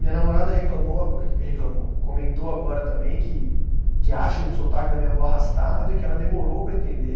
Minha namorada reclamou ago, reclamou, comentou agora também que, que acha o sotaque da minha avó arrastado e que ela demorou para entender.